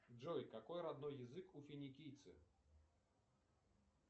джой какой родной язык у финикийцев